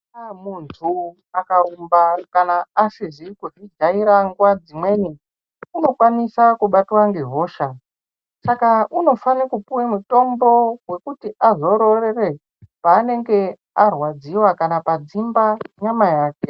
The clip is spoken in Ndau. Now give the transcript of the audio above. Muntu akarumba kana asizi kuzvijaira nguva dzimweni unokwanisa kubatwa ngehosha. Saka unofana kupuwa mutombo wekuti azororore paanenge arwadziwa kana padzimba nyama yake.